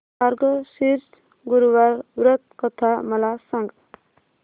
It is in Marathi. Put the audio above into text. मार्गशीर्ष गुरुवार व्रत कथा मला सांग